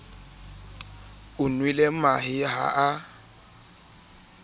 o nwele mahe ha a